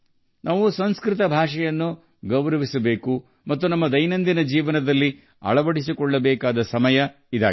ನಾವು ಸಂಸ್ಕೃತವನ್ನು ಗೌರವಿಸಬೇಕು ಮತ್ತು ಅದನ್ನು ನಮ್ಮ ದೈನಂದಿನ ಜೀವನದೊಂದಿಗೆ ಸಂಪರ್ಕಿಸಬೇಕು ಎಂಬುದು ಇಂದಿನ ಕಾಲದ ಬೇಡಿಕೆಯಾಗಿದೆ